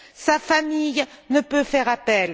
Sa famille ne peut faire appel.